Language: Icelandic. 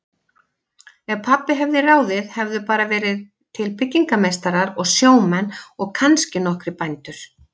Ef pabbi hefði ráðið hefðu bara verið til byggingameistarar og sjómenn og kannski nokkrir bændur.